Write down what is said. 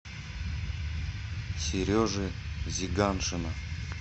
сережи зиганшина